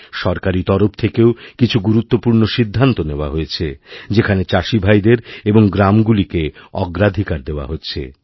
সরকারী তরফ থেকেও কিছু গুরুত্বপূর্ণ সিদ্ধান্ত নেওয়া হয়েছে যেখানেচাষিভাইদের এবং গ্রামগুলিকে অগ্রাধিকার দেওয়া হচ্ছে